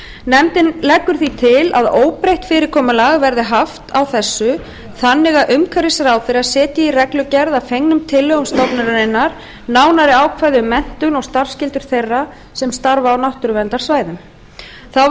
nefndin leggur því til að óbreytt fyrirkomulag verði haft á þessu þannig að umhverfisráðherra setji í reglugerð að fengnum tillögum stofnunarinnar nánari ákvæði um menntun og starfsskyldur þeirra sem starfa á náttúruverndarsvæðum þá